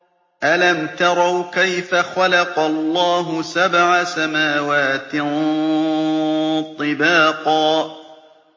أَلَمْ تَرَوْا كَيْفَ خَلَقَ اللَّهُ سَبْعَ سَمَاوَاتٍ طِبَاقًا